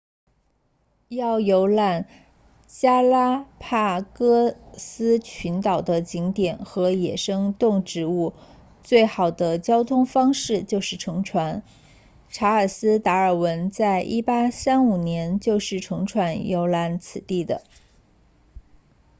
要游览加拉帕戈斯群岛的景点和野生动植物最好的交通方式就是乘船查尔斯达尔文在1835年就是乘船游览此地的